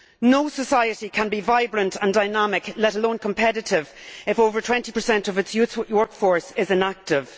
No society can be vibrant and dynamic, let alone competitive, if over 20 of its youth workforce is inactive.